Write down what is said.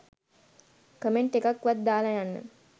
comment එකක් වත් දාලා යන්න